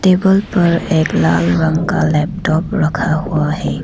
Table पर एक लाल रंग का लैपटॉप रखा हुआ है।